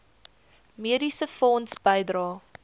mediese fonds bydrae